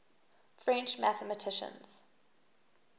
french mathematicians